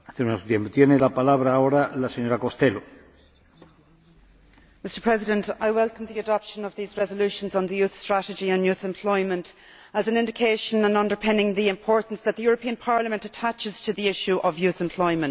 Mr President, I welcome the adoption of these resolutions on the youth strategy and youth employment as an indication underpinning the importance that the European Parliament attaches to the issue of youth employment.